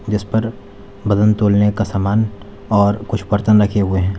जिस पर वजन तोलने का सामान और कुछ बर्तन रखे हुए हैं।